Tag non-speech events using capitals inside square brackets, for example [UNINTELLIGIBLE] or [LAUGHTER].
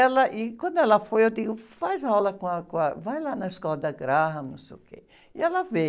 Ela, e quando ela foi, eu digo, faz aula com a, com a... Vai lá na escola da Graham, não sei o quê. E ela... [UNINTELLIGIBLE]